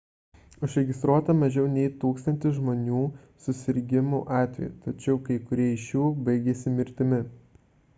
užregistruota mažiau nei tūkstantis žmonių susirgimų atvejų tačiau kai kurie iš jų baigėsi mirtimi